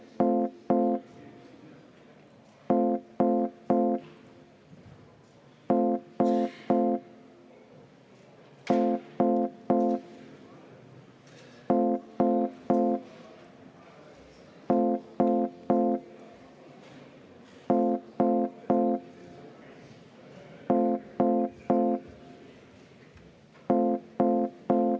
Kümme minutit vaheaega, palun!